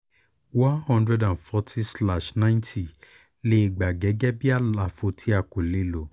one hundred and forty slash ninety lè gbà á gẹ́gẹ́ bí àlàfo tí a kò lè lò